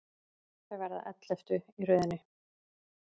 Þau verða elleftu í röðinni.